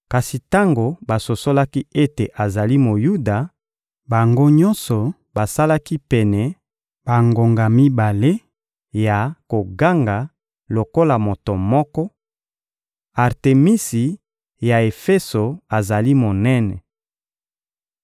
Kasi tango basosolaki ete azali Moyuda, bango nyonso basalaki pene bangonga mibale ya koganga lokola moto moko: — Artemisi ya Efeso azali monene!